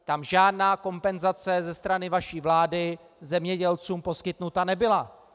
Tam žádná kompenzace ze strany vaší vlády zemědělcům poskytnuta nebyla.